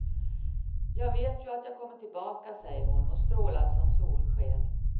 Jag vet ju att jag kommer tillbaka, säger hon och strålar som solsken.